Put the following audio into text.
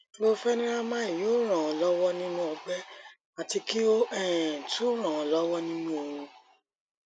chlorpheniramine yóò ràn án lọwọ nínú ọgbẹ àti kí ó um tún ràn án lọwọ nínú oorun